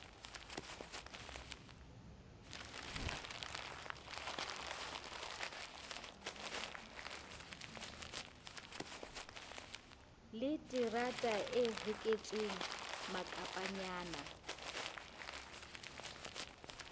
le terata e hoketsweng makapanyana